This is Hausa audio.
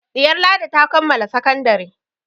Ɗiyar Ladi ta kammala sakandare.